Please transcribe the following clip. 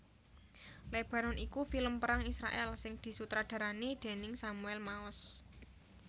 Lebanon iku film perang Israèl sing disutradarani déning Samuel Maoz